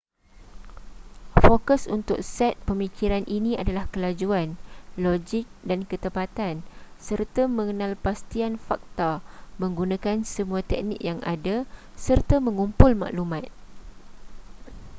fokus untuk set pemikiran ini adalah kelajuan logik dan ketepatan serta pengenalpastian fakta menggunakan semua teknik yang ada serta mengumpul maklumat